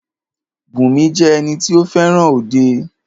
Bùnmi jẹ́ ẹni tí o fẹràn òde.